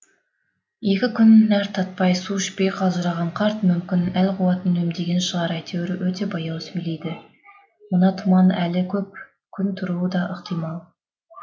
екі күн нәр татпай су ішпей қалжыраған қарт мүмкін әл қуатын үнемдеген шығар әйтеуір өте баяу сөйлейді мына тұман әлі көп күн тұруы да ықтимал